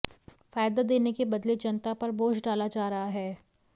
फायदा देने के बदले जनता पर बोझ डाला जा रहा है